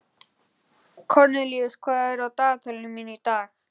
Kornelíus, hvað er á dagatalinu mínu í dag?